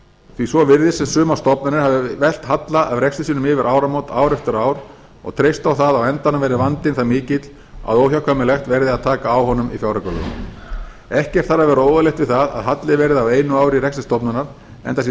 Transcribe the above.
því svo virðist sem sumar stofnanir hafi velt halla af rekstri sínum yfir áramót ár eftir ár og treyst á það að á endanum verði vandinn það mikill að óhjákvæmilegt verði að taka á honum í fjáraukalögum ekkert þarf að vera óeðlilegt við það að halli verði á einu ári í rekstri stofnunar enda sé